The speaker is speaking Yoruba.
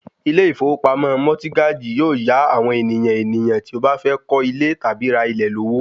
Ilé ìfowópamọ́ mọtígájì yóò yá àwọn ènìyàn ènìyàn tí ó bá fẹ́ kọ́ ilé tàbí ra ilẹ̀ lówó